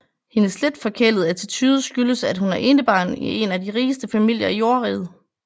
Hendes lidt forkælede attitude skyldes at hun er enebarn i en af de rigeste familier i Jordriget